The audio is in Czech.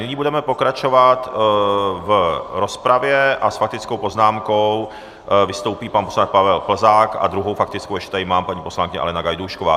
Nyní budeme pokračovat v rozpravě a s faktickou poznámkou vystoupí pan poslanec Pavel Plzák a druhou faktickou ještě tady mám - paní poslankyně Alena Gajdůšková.